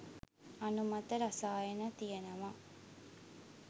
අනුමත රසායන තියෙනව